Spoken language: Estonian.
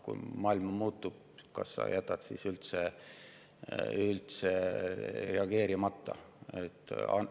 Kui maailm muutub, kas jätame siis sellele reageerimata?